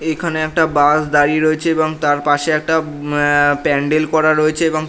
এখানে একটা বাস দাঁড়িয়ে রয়েছে এবং তার পাশে একটা এ-প্যান্ডেল করা রয়েছে।